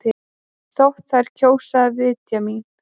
Þótt þær kjósi að vitja mín.